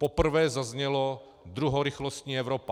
Poprvé zaznělo druhorychlostní Evropa.